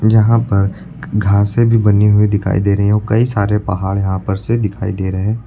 जहां पर ग् घासें भी बनी हुई दिखाई दे रही हैं। ओ कई सारे पहाड़ यहां पर से दिखाई दे रहे।